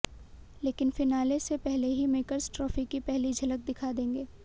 लेकिन फिनाले से पहले ही मेकर्स ट्राफी की पहली झलक दिखा देंगे